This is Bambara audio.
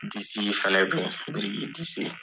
Disi fɛnɛ be yen. Biriki disi .